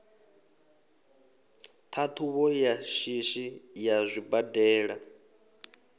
ṱhaṱhuvho ya shishi ya zwibadela